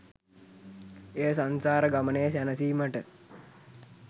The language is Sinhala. එය සංසාර ගමනේ සැනසීමට